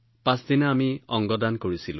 দ্বিতীয় দিনা আমি অংগ দান কৰিছিলো